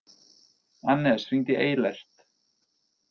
Annes, hringdu í Eilert.